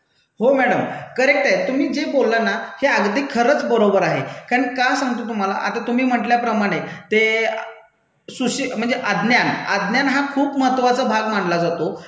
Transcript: हो madam. Correct ये. तुम्ही जे बोलला ना हे अगदी खरंच बरोबर आहे, कारण का सांगतो तुम्हाला, आता तुम्ही म्हंटल्याप्रमाणे ते सुशि म्हणजे अज्ञान. अज्ञान हा खूप महत्वाचा भाग मानला जातो,